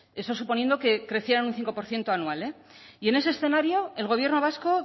eso suponiendo que creciera un cinco por ciento anual y en ese escenario el gobierno vasco